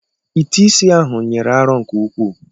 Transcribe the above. Ite isi ahụ nyiri arọ nke ukwuu.